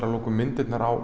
að lokum myndirnar á